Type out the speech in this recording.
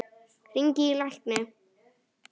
Hringi í lækni.